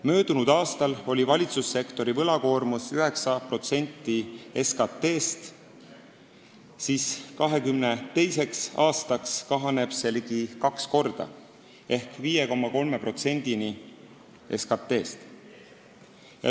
Möödunud aastal oli valitsussektori võlakoormus 9% SKT-st, 2022. aastaks kahaneb see ligi kaks korda ehk 5,3%-ni SKT-st.